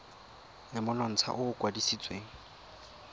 le monontsha o o kwadisitsweng